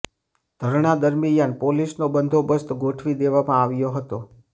ધરણા દરમ્યાન પોલીસનો બંદોબ્સત ગોઠવી દેવામાં આવ્યો હતો